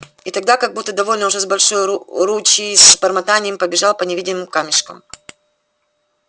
и тогда как будто довольно уже большой ручей с бормотаньем побежал по невидимым камешкам